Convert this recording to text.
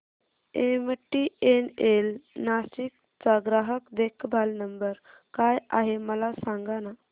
MTNL Nashik चा ग्राहक देखभाल नंबर काय आहे मला सांगाना